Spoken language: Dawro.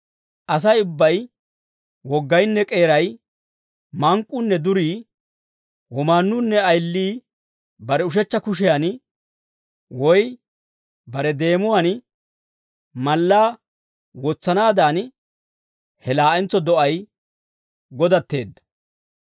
Asay ubbay woggaynne k'eeray, mank'k'uunne durii, womaannuunne ayilii bare ushechcha kushiyan woy bare deemuwaan mallaa wotsanaadan, he laa'entso do'ay godatteedda.